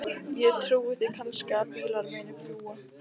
Ég trúi því kannski að bílar muni fljúga.